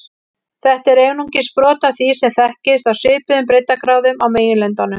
Þetta er einungis brot af því sem þekkist á svipuðum breiddargráðum á meginlöndunum.